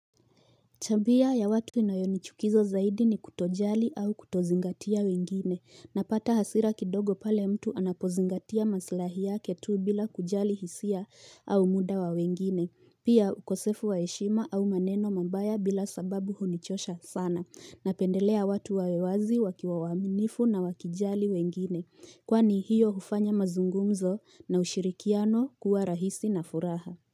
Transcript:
Tabia ya watu inayonichukiza zaidi ni kutojali au kutozingatia wengine. Napata hasira kidogo pale mtu anapozingatia maslahi yake tu bila kujali hisia au muda wa wengine. Pia ukosefu waheshima au maneno mambaya bila sababu hunichosha sana. Napendelea watu wawe wazi wakiwa waminifu na wakijali wengine. Kwani hiyo hufanya mazungumzo na ushirikiano kuwa rahisi na furaha.